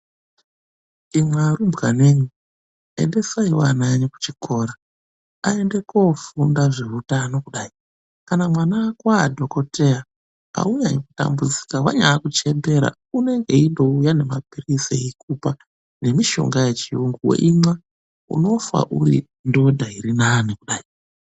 Imwi arumbwanemwi, endesaiwo ana kuchikora aende kofunda zveutano kudai. Kana mwana wako adhogodheya aunyanyi kutambudzika wanyaakuchembera unenge eingouya nemaphirizi eikupa nemishonga yechiyungu weimwa unofa uri ndodha iri nani kudai.